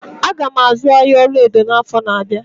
Aga m azụ ahịa ọlaedo n'afọ na-abịa.